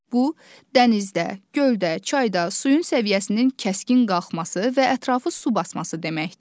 Bu, dənizdə, göldə, çayda suyun səviyyəsinin kəskin qalxması və ətrafı su basması deməkdir.